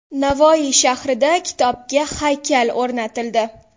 Navoiy shahrida kitobga haykal o‘rnatildi.